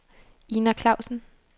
Ina Klausen